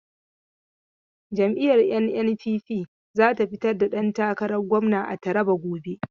Jam'iyyar NNPP za ta fitar da dantakaran gwamna a Taraba gobe.